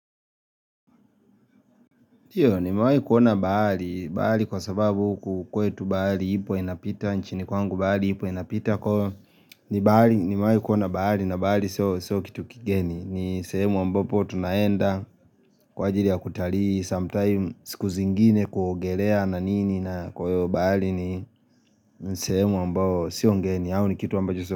Ndiyo, nimeawahi kuona bahali. Bahali kwa sababu hukukwe tu bahali ipo ena pita, nchinikwangu baali ipo ena pita. Kwa nimewahi kuna bahali na bahali so kitu kigeni. Ni sehemu ambopo tunaenda kwa ajilia ya kutalii. Sometime skuzingine kwa kuogelea na nini na kuyo bahali ni sehemu ambopo sio ngeni.